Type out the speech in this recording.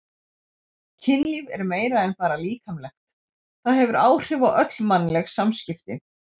Kynlíf er meira en bara líkamlegt, það hefur áhrif á öll mannleg samskipti.